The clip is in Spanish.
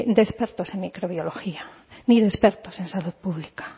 de expertos en microbiología ni de expertos en salud pública